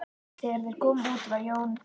Þegar þeir komu út var Jón